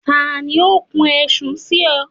tali o kún ẹ̀sùn si ọ?